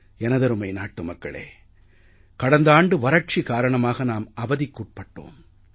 எனதருமை நாட்டுமக்களே கடந்த ஆண்டு வறட்சி காரணமாக நாம் அவதிக்காட்பட்டோம்